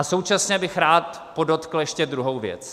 A současně bych rád podotkl ještě druhou věc.